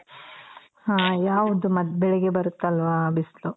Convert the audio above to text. ಹ ಯಾವ್ದು ಮತ್ತ್ ಬೆಳ್ಗೆ ಬರುತ್ತಲ ಆ ಬಿಸ್ಲು